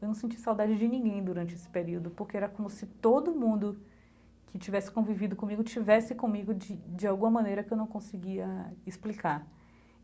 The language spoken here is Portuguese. Eu não senti saudade de ninguém durante esse período, porque era como se todo mundo que estivesse convivido comigo estivesse comigo de de alguma maneira que eu não conseguia explicar.